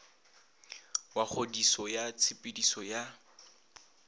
wa kgodiso ya tshepediso ya